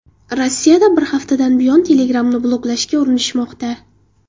Rossiyada bir haftadan buyon Telegram’ni bloklashga urinishmoqda.